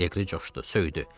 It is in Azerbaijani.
Leqri coşdu, söydü.